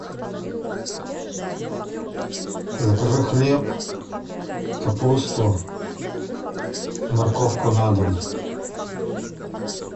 закажи хлеб капусту морковку на дом